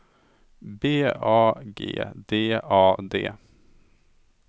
B A G D A D